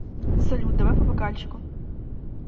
салют давай по бокальчику